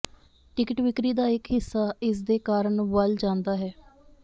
ticket ਵਿਕਰੀ ਦਾ ਇਕ ਹਿੱਸਾ ਇਸ ਦੇ ਕਾਰਨ ਵੱਲ ਜਾਂਦਾ ਹੈ